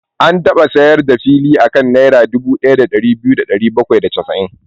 An taba sayar da fili a kan Naira dubu ɗaya da biyu da ɗari bakwai da casa'in.